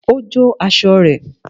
Ó jó aṣọ rẹ̀